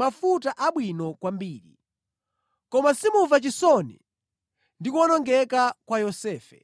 mafuta abwino kwambiri, koma simumva chisoni ndi kuwonongeka kwa Yosefe.